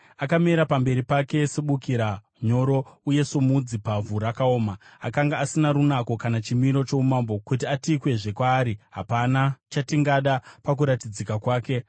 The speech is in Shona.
Akamera pamberi pake sebukira nyoro, uye somudzi pavhu rakaoma. Akanga asina runako kana chimiro choumambo kuti atikwezve kwaari, hapana chatingada pakuratidzika kwake.